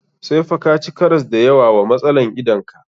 Sai fa ka ci karas da yawa wa matsalan idan ka.